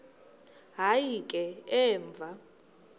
hayi ke emva